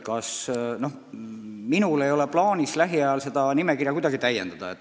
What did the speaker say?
Minul ei ole plaanis lähiajal seda nimekirja kuidagi täiendada.